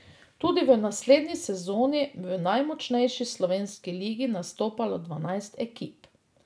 Tudi v naslednji sezoni bo v najmočnejši slovenski ligi nastopalo dvanajst ekip.